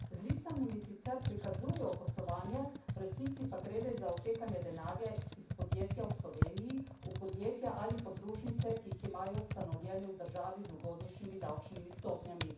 Z listinami sicer prikazujejo poslovanje, v resnici pa gre le za odtekanje denarja iz podjetja v Sloveniji v podjetja ali podružnice, ki jih imajo ustanovljene v državi z ugodnješimi davčnimi stopnjami.